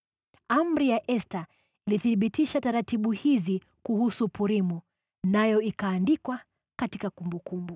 Amri ya Esta ilithibitisha taratibu hizi kuhusu Purimu, nayo ikaandikwa katika kumbukumbu.